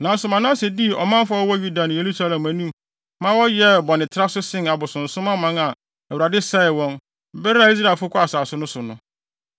Nanso Manase dii ɔmanfo a wɔwɔ Yuda ne Yerusalem anim maa wɔyɛɛ bɔnetraso sen abosonsom aman a Awurade sɛee wɔn, bere a Israelfo kɔɔ asase no so no.